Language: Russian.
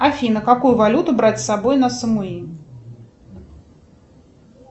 афина какую валюту брать с собой на самуи